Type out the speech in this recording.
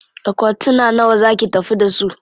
Akwatuna nawa za ki tafi da su?